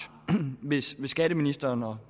hvis skatteministeren og